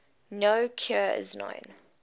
no cure is known